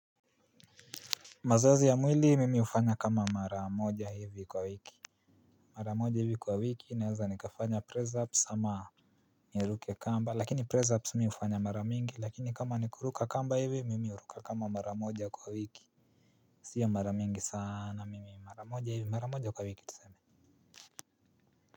Mazoezi ya mwili mimi hufanya kama maramoja hivi kwa wiki. Maramoja hivi kwa wiki naweza nikafanya pressups ama niruke kamba lakini pressups mimi hufanya mara mingi lakini kama nikuruka kamba hivi mimi huruka kama maramoja kwa wiki sio mara mingi sana ni mara moja hivi mara moja kwa wiki.